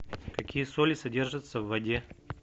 какие соли содержатся в воде